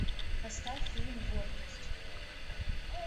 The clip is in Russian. поставь фильм гордость